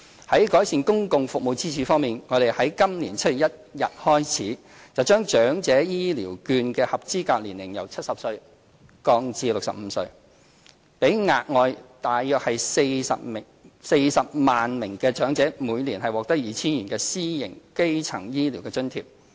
在改善公共服務的支柱方面，我們已在今年7月1日起，把長者醫療券的合資格年齡由70歲降至65歲，讓額外約40萬名長者每年獲得 2,000 元的私營基層醫療津貼。